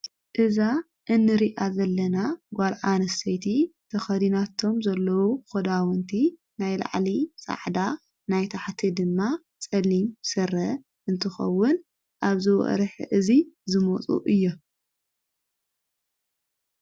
እዛ እንሪኣ ዘለና ጓልዓንስሰይቲ ተኸዲናቶም ዘለዉ ኾዳውንቲ ናይ ኢልዕሊ ሳዕዳ ናይታሕቲ ድማ ጸሊም ሥረ እንትኸውን ኣብዚ ወርሒ እዙይ ዝሞፁ እዮም።